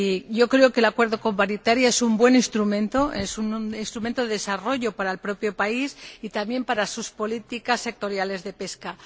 Yo creo que el Acuerdo con Mauritania es un buen instrumento, es un instrumento de desarrollo para el propio país y también para sus políticas sectoriales de pesca.